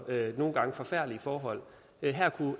nogle gange forfærdelige forhold her